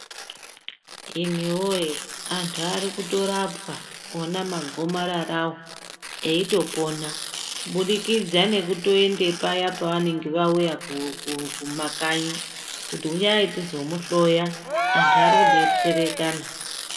Imiwoye antu arikutorapwa ona magomararawo eitopona kubudikidza nekutoende paya pavanenge vauya kumakanyi, kuti uyai tizomuhloya. Antu arikudetserekana.